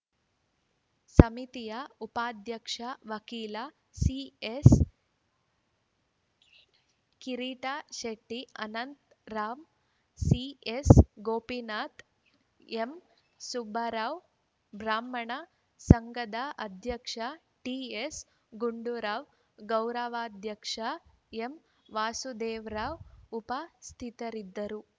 ಸಮಿತಿಯ ಉಪಾಧ್ಯಕ್ಷ ವಕೀಲ ಸಿಎಸ್‌ಕಿರೀಟ್‌ಶೆಟ್ಟಿ ಅನಂತರಾಮ್‌ ಸಿಎಸ್‌ಗೋಪಿನಾಥ ಎಂಸುಬ್ಬುರಾವ್‌ ಬ್ರಾಹ್ಮಣ ಸಂಘದ ಅಧ್ಯಕ್ಷ ಟಿಎಸ್‌ಗುಂಡೂರಾವ್‌ ಗೌರವಾಧ್ಯಕ್ಷ ಎಂವಾಸುದೇವರಾವ್‌ ಉಪಸ್ಥಿತರಿದ್ದರು